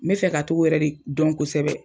N bɛ fɛ ka t'o yɛrɛ de dɔn kosɛbɛ.